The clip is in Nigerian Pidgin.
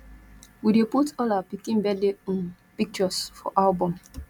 we dey put all our pikin birthday um pictures for album